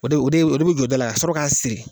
O de o de o de bɛ jɔ da la ka sɔrɔ k'a siri.